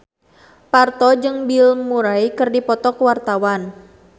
Parto jeung Bill Murray keur dipoto ku wartawan